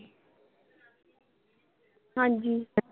ਹਾਂਜੀ।